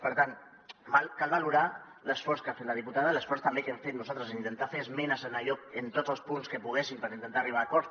per tant cal valorar l’esforç que ha fet la diputada i l’esforç també que hem fet nosaltres en intentar fer esmenes en tots els punts que poguéssim per intentar arribar a acords